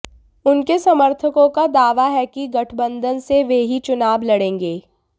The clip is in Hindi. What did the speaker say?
उनके समर्थकों का दावा है कि गठबंधन से वे ही चुनाव लड़ेंगे